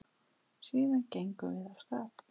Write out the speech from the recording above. Síðan gengum við af stað.